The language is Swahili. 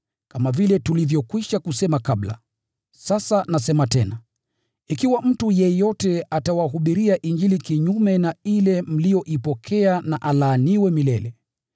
Kama vile tulivyokwisha kusema kabla, sasa nasema tena, ikiwa mtu yeyote atawahubiria Injili kinyume na ile mliyoipokea na alaaniwe milele!